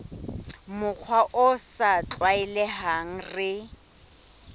mokgwa o sa tlwaelehang re